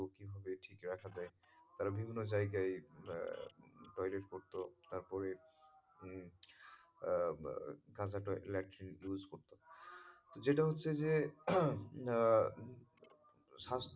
কীভাবে ঠিক রাখা যায়, তারা বিভিন্ন জায়গায় toilet করতো তারপরে উম আহ কাঁচা latrine use করতো যেটা হচ্ছে যে আহ স্বাস্থ্যের,